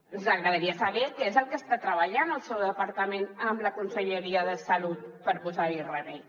ens agradaria saber què és el que està treballant el seu departament amb la conselleria de salut per posar hi remei